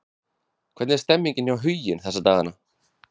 Hvernig er stemningin hjá Huginn þessa dagana?